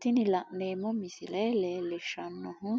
tini la'neemmo misile leellishshannohu